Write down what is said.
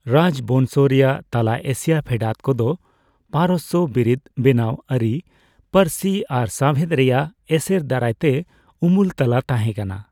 ᱨᱟᱡᱽᱵᱚᱝᱥᱚ ᱨᱮᱭᱟᱜ ᱛᱟᱞᱟ ᱮᱥᱤᱭᱟ ᱯᱷᱮᱰᱟᱛ ᱠᱚᱫᱚ ᱯᱟᱨᱚᱥᱥᱚ ᱵᱤᱨᱤᱫ, ᱵᱮᱱᱟᱣ ᱟᱹᱨᱤ, ᱯᱟᱹᱨᱥᱤ ᱟᱨ ᱥᱟᱣᱦᱮᱫ ᱨᱮᱭᱟᱜ ᱮᱥᱮᱨ ᱫᱟᱨᱟᱭᱛᱮ ᱩᱢᱩᱞ ᱛᱟᱞᱟ ᱛᱟᱦᱮᱸ ᱠᱟᱱᱟ ᱾